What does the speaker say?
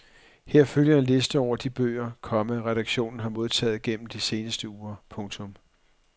Her følger en liste over de bøger, komma redaktionen har modtaget gennem de seneste uger. punktum